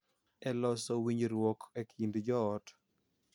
E loso winjruok e kind joot.